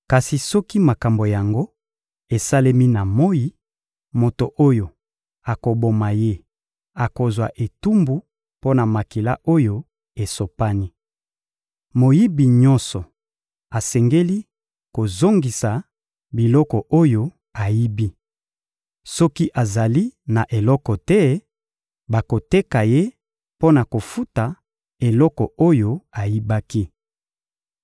Kasi soki makambo yango esalemi na moyi, moto oyo akoboma ye akozwa etumbu mpo na makila oyo esopani. Moyibi nyonso asengeli kozongisa biloko oyo ayibi. Soki azali na eloko te, bakoteka ye mpo na kofuta eloko oyo ayibaki.